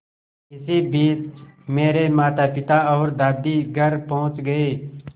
इसी बीच मेरे मातापिता और दादी घर पहुँच गए